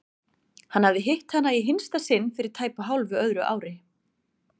Hann hafði hitt hana í hinsta sinn fyrir tæpu hálfu öðru ári.